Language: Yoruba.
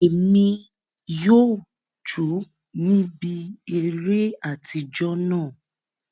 Emi yóò jo níbi eré atijọ náà.